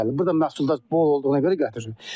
Burda məhsuldar bol olduğuna görə gətirsin.